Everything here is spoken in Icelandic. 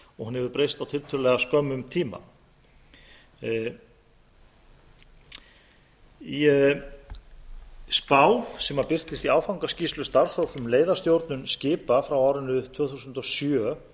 og hún hefur breyst á tilltölulega skömmum tíma í spá sem birtist í í áfangaskýrslu starfshóps um leiðastjórnun skipa frá árinu tvö þúsund og sjö